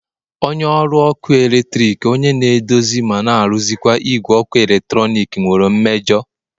onye ọrụ ọkụ eletrik onye na-edozi ma na-arụkwa igwe eletrọnịkị nwere mmejọ